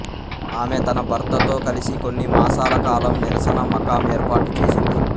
ఆమె తన భర్తతో కలిసి కొన్ని మాసాల కాలం నిరసన మకాం ఏర్పాటు చేసింది